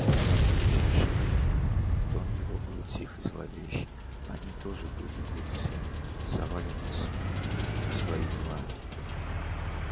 и в самое ближайшее время тон его был тих и зловещ они тоже были глупцы совали нос не в свои дела